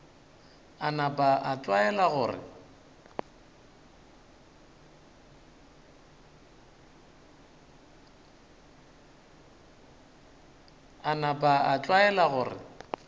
a napa a tlwaela gore